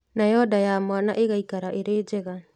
Nayo nda ya mwana ĩgaikara ĩrĩ njega